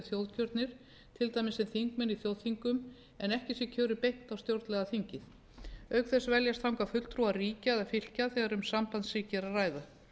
þjóðkjörnir til dæmis sem þingmenn á þjóðþingum en ekki sé kjörið beint á stjórnlagaþingið auk þess veljast þangað fulltrúar ríkja eða fylkja þegar um sambandsríki er að ræða